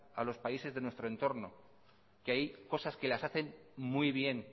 a los países de nuestro entorno que hay cosas que las hacen muy bien